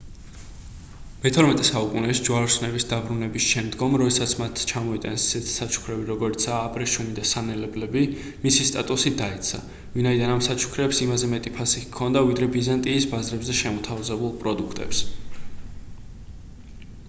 მეთორმეტე საუკუნეში ჯვაროსნების დაბრუნების შემდგომ როდესაც მათ ჩამოიტანეს ისეთი საჩუქრები როგორიცაა აბრეშუმი და სანელებლები მისი სტატუსი დაეცა ვინაიდან ამ საჩუქრებს იმაზე მეტი ფასი ჰქონდა ვიდრე ბიზანტიის ბაზრებზე შემოთავაზებულ პროდუქტებს